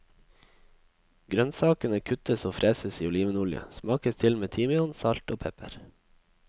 Grønnsakene kuttes og freses i olivenolje, smakes til med timian, salt og pepper.